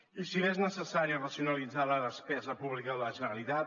i si bé és necessari racionalitzar la despesa pública de la generalitat